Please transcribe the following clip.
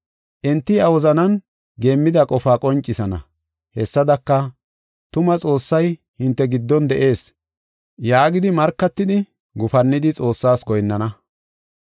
Enti iya wozanan geemmida qofaa qoncisana. Hessadaka, “Tuma Xoossay hinte giddon de7ees” yaagidi markatidi, gufannidi Xoossaas goyinnana.